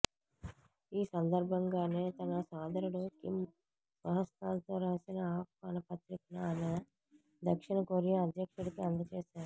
ఈ సందర్భంగానే తన సోదరుడు కిమ్ స్వహస్తాలతో రాసిన ఆహ్వాన పత్రికను ఆమె దక్షిణ కొరియా అధ్యక్షుడికి అందజేశారు